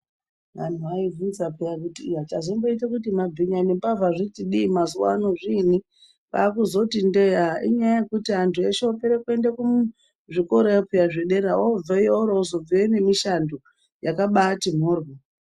Anthu aivhunza peya kuti iyaa chazomboita kuti mabhinya nembavha zviti dii mazuwaano zviini kwaakuzoti ndee aa inyaya yekuti anthu eshe opere kuende kuzvikorayo peya zvedera oro obveyo nemushando yakabaati mhoryo.